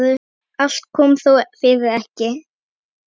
Allt kom þó fyrir ekki.